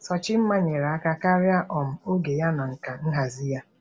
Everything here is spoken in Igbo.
Sochimma nyere aka karịa um oge ya na nka nhazi ya.